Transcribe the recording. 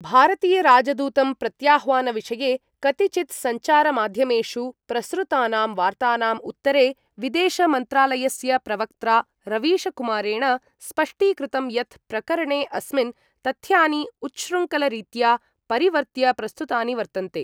भारतीयराजदूतं प्रत्याह्वानविषये कतिचिद् सञ्चारमाध्यमेषु प्रसृतानां वार्तानाम् उत्तरे विदेशमन्त्रालयस्य प्रवक्त्रा रवीशकुमारेण स्पष्टीकृतं यत् प्रकरणे अस्मिन् तथ्यानि उच्श्रृंखलरीत्या परिवर्त्य प्रस्तुतानि वर्तन्ते।